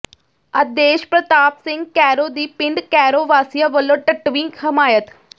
ਆਦੇਸ਼ਪ੍ਰਤਾਪ ਸਿੰਘ ਕੈਰੋਂ ਦੀ ਪਿੰਡ ਕੈਰੋਂ ਵਾਸੀਆਂ ਵੱਲੋਂ ਡੱਟਵੀਂ ਹਮਾਇਤ